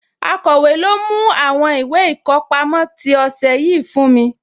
Akọ̀wé, lọ mú àwọn ìwé ìkọpámọ́ tí ọ̀sẹ̀ yìí fún mi?